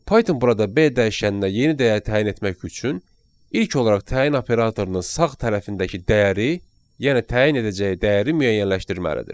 Python burada B dəyişəninə yeni dəyər təyin etmək üçün ilk olaraq təyin operatorunun sağ tərəfindəki dəyəri, yəni təyin edəcəyi dəyəri müəyyənləşdirməlidir.